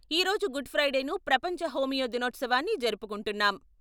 ఈరోజు గుడ్ ఫ్రైడేను, ప్రపంచ హోమియో దినోత్సవాన్ని జరుపుకుంటున్నాం.